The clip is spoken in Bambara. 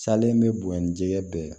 Salen bɛ bonya ni jɛgɛ bɛɛ ye